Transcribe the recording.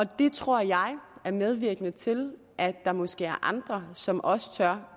det tror jeg er medvirkende til at der måske er andre som også tør